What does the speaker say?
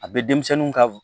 A bɛ denmisɛnninw ka